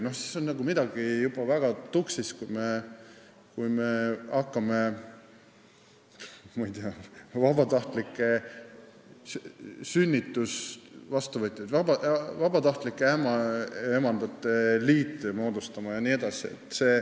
Siis on midagi juba väga tuksis, kui me hakkame vabatahtlike sünnituse vastuvõtjate, vabatahtlike ämmaemandate liite moodustama jne.